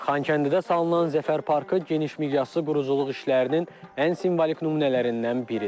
Xankəndidə salınan Zəfər parkı geniş miqyaslı quruculuq işlərinin ən simvolik nümunələrindən biridir.